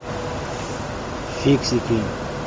фиксики